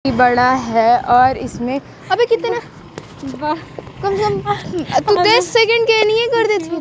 इ बड़ा है और इसमें अभी कितने कम से कम तुम दस सेकेंड के येनिये कर देती--